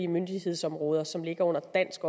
myndighedsområder som ligger under dansk